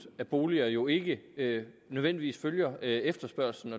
af boliger jo ikke nødvendigvis følger efterspørgslen